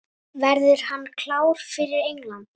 Verður hann klár fyrir England?